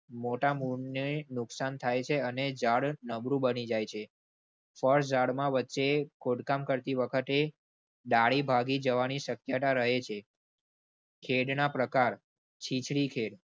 મોટા મૂળ ને નુકસાન થાય છે અને જાડ નબળું બની જાય છે. ફળ ઝાડમાં વચ્ચે ખોદકામ કરતી વખતે દાઢી ભાગી જવાની શક્યતા રહે છે. ખેડના પ્રકાર